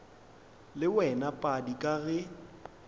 le wena padi ka ge